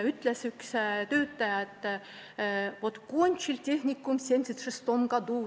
Üks töötaja ütles: "Vot kontšil tehnikum v 76-om godu.